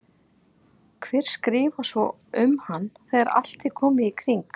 Hver skrifar svo um hann þegar allt er komið í kring?